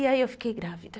E aí eu fiquei grávida.